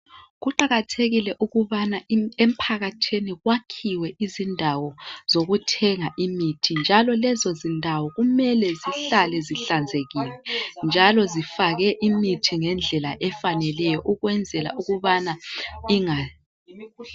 Kuqakathekile ukubana emphakathini kwakhiwe indawo zokuthenga imithi njalo lezozindawo kumele zihlale zihlanzekile njalo zifake imithi ngendlela efaneleyo ukwenzela ukubana inga.